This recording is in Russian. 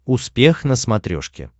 успех на смотрешке